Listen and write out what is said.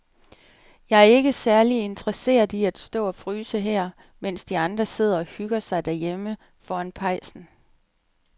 Jeg er ikke særlig interesseret i at stå og fryse her, mens de andre sidder og hygger sig derhjemme foran pejsen.